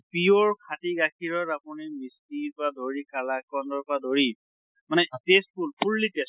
pure খাটি গাখীৰৰ আপুনি ঘিৰ পৰা ধৰি কালাকন্দৰ পৰা ধৰি মানে tasteful, fully taste